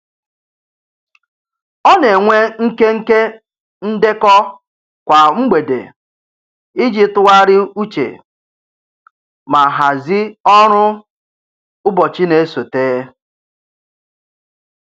Ọ na-enwe nkenke ndekọ kwa mgbede iji tụgharị uche ma hazị ọrụ ụbọchị na-esote.